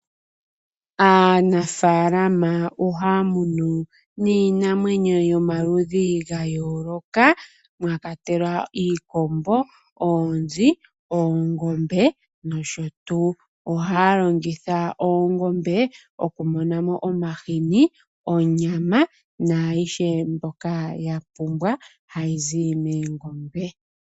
Aanafalama ohaya munu niinamwenyo yomaludhi ga yooloka mwa kwatelwa iikombo, oonzi, oongombe nosho tuu. Ohaya longitha oongombe okumona mo omahini, onyama naayihe mbyoka ya pumbwa hayi zi moongombe.